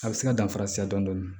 A bɛ se ka danfara caya dɔndɔni